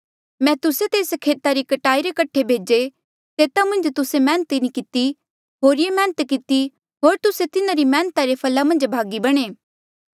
मैं तुस्से तेस खेता री कटाई रे कठे भेजे तेता मन्झ तुस्से मैहनत नी किती होरिये मैहनत किती होर तुस्से तिन्हारी मैहनता रे फला मन्झ भागी बणे